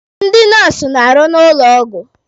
Ndị nọọsụ na-arụ n'ụlọ ọgwụ.